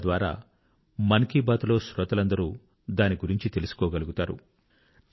తద్వారా మన్ కీ బాత్ లో శ్రోతలందరూ దానిగురించి తెలుసుకోగలుగుతారు